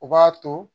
U b'a to